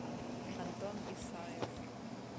антон исаев